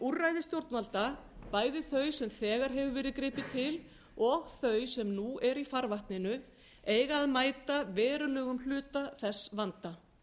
úrræði stjórnvalda bæði þau sem þegar hefur verið gripið til og þau sem nú eru í farvatninu eiga að mæta verulegum hluta þess vanda